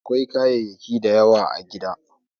Akwai kayayyaki da yawa a gida.